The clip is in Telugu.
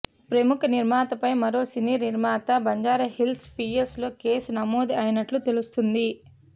ప్రముఖ నిర్మాత పై మరో సినీ నిర్మాత బంజారాహిల్స్ పీఎస్ లో కేసు నమోదు అయినట్లు తెలుస్తుంది